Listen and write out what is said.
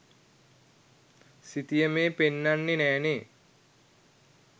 සිතියමේ පෙන්නන්නේ නෑනේ